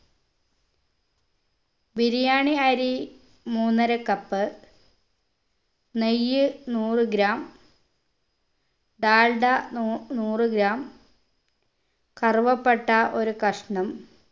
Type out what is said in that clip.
ബിരിയാണി അരി മൂന്നര cup നെയ്യ് നൂറ് gram ഡാൽഡ നു നൂറ് gram കറുവപ്പട്ട ഒരു കഷ്‌ണം